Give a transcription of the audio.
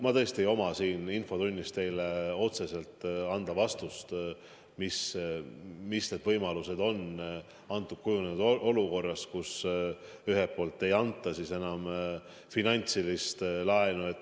Ma tõesti ei saa siin infotunnis teile anda otsest vastust, millised on võimalused kujunenud olukorras, kus ühelt poolt ei anta enam laenu.